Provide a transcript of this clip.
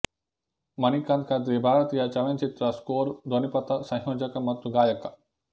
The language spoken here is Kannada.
ಮಣಿಕಾಂತ್ ಕದ್ರಿ ಭಾರತೀಯ ಚಲನಚಿತ್ರ ಸ್ಕೋರ್ ಧ್ವನಿಪಥ ಸಂಯೋಜಕ ಮತ್ತು ಗಾಯಕ